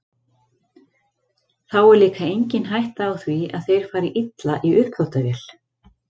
Þá er líka engin hætta á því að þeir fari illa í uppþvottavél.